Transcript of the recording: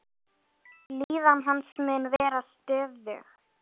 Líðan hans mun vera stöðug.